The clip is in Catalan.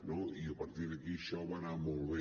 no i a partir d’aquí això va anar molt bé